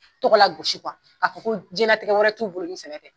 Tɔgɔ lagosi k'a fɔ ko ko jɛnlatigɛ wɛrɛ t'u bolo ni sɛnɛ tɛ.